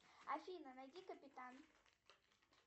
афина найди капитан